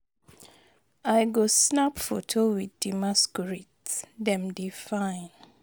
I go snap foto with di masquerades, dem dey fine.